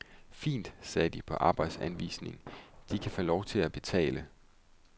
Fint, sagde de på arbejdsanvisningen, de kan få lov at betale.